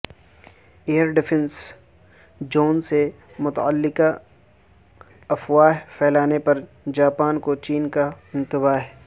ایر defence zone سے متعلقہ افواہ پھیلانے پر جاپان کو چین کا انتباہ